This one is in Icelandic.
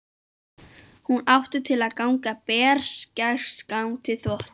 Hún átti til að ganga berserksgang við þvott.